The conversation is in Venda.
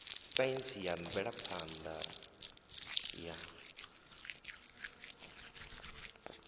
saintsi na mvelaphan ḓa ya